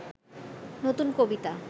নতুন কবিতা